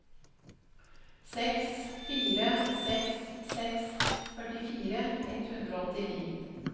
seks fire seks seks førtifire ett hundre og åttini